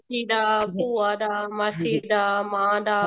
ਚਾਚੀ ਦਾ ਭੂਆ ਦਾ ਮਾਸੀ ਦਾ ਮਾਂ ਦਾ